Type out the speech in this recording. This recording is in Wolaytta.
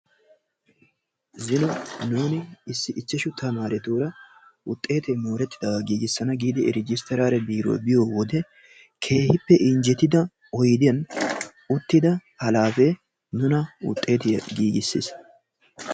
Zino nuuni issi ichchashu tamaaretuura wuxxeete moorettidaagaa giigissana giidi rejisteraale biiruwa biyo wode keehippe injjetido oydiyan uttida halaafee nuna wuxxeetiya giigissis.